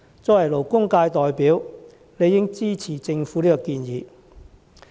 作為勞工界代表，我理應支持政府的建議。